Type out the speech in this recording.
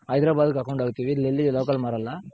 ಹೈದರಾಬಾದ್ಗ್ ಹಾಕೊಂಡ್ ಹೋಗ್ತಿವಿ ಇಲ್ ಎಲ್ಲೂ Local ಮಾರಲ್ಲ